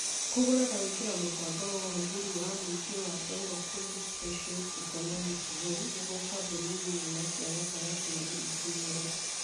Kũgũra na gwĩkĩra mũbango wa ũhũthĩri wa mũingĩ wa Dongo Kundu Special Economic Zone nĩguo kambuni nini na cia gatagatĩ-inĩ ikinyĩre